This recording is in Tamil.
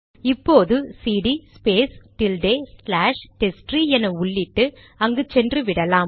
இப்போது CD space tilde slash testtree என உள்ளிட்டு அங்கு சென்று விடலாம்